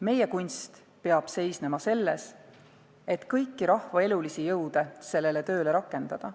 Meie kunst peab seisma selles, et kõiki rahva elulisi jõude sellele tööle rakendada.